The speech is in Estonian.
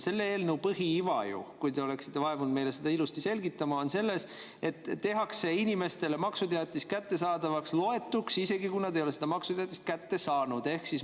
Selle eelnõu põhiiva, kui te oleksite vaevunud meile seda ilusti selgitama, on selles, et maksuteatis loetakse inimestele kättejõudnuks, isegi kui nad ei ole seda maksuteatist kätte saanud.